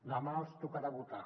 demà els tocarà votar